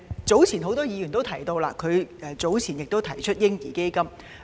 早前，蔣議員亦曾提出設立嬰兒基金。